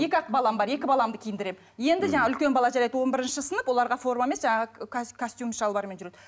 екі ақ балам бар екі баламды киіндіремін енді жаңа үлкен бала жарайды он бірінші сынып оларға форма емес жаңағы костюм шалбармен жүреді